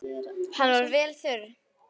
Hann var vel þurr.